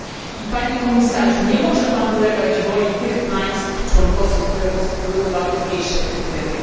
I Panie komisarzu, nie może pan ulegać woli tych państw członkowskich, które postulują o łagodniejsze kryteria.